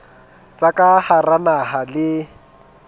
tsa ka hara naha le